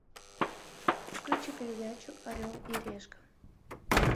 включи передачу орел и решка